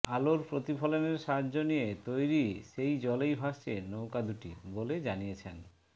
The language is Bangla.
আলোর প্রতিফলনের সাহায্য নিয়ে তৈরি সেই জলেই ভাসছে নৌকা দুটি বলে জানিয়েছেন